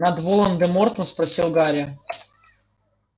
над волан-де-мортом спросил гарри